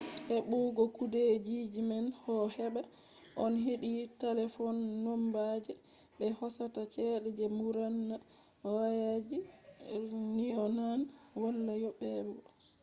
hebugo kudeejiman do hebaa on heedi talefon nomba je be hosata chede je mburna wayaji nyonaan wala yoobego